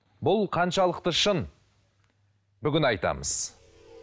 бұл қаншалықты шын бүгін айтамыз